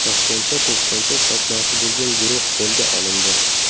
Toshkentda to‘pponcha sotmoqchi bo‘lgan guruh qo‘lga olindi.